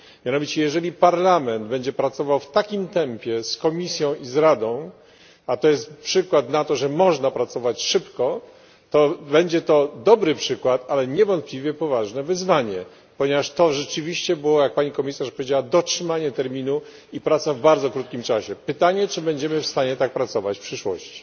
Mianowicie jeżeli Parlament będzie pracował w takim tempie z Komisją i z Radą a to jest przykład na to, że można pracować szybko to będzie to dobry przykład, ale niewątpliwie poważne wyzwanie, ponieważ to rzeczywiście było, jak pani komisarz powiedziała, dotrzymanie terminu i praca w bardzo krótkim czasie. Pytanie brzmi, czy będziemy w stanie tak pracować w przyszłości.